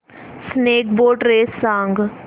snake boat race सांग